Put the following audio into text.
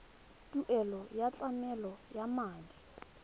tuelo ya tlamelo ya madi